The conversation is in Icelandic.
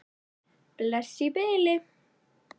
Bless í bili.